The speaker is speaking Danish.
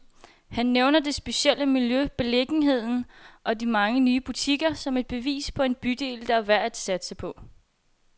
Han nævner det specielle miljø, beliggenheden og de mange nye butikker, som et bevis på en bydel, der er værd at satse på.